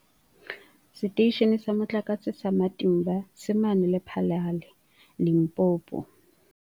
Seteishene sa Motlakase sa Matimba se mane Lephalale, Limpopo.